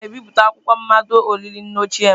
Aga m ebipụta akwụkwọ mmado olili nne ochie m.